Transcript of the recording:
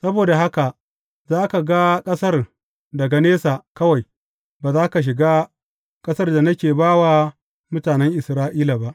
Saboda haka, za ka ga ƙasar daga nesa kawai; ba za ka shiga ƙasar da nake ba wa mutanen Isra’ila ba.